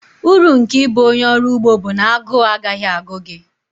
Uru nke ịbụ onye ọrụ ugbo bụ na agụụ agaghị agụ gị